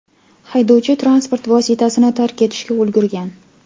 Haydovchi transport vositasini tark etishga ulgurgan.